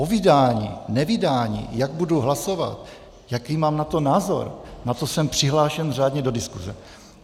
O vydání, nevydání, jak budu hlasovat, jaký mám na to názor, na to jsem přihlášen řádně do diskuze.